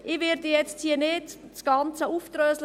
Ich werde jetzt hier nicht das Ganze aufdröseln;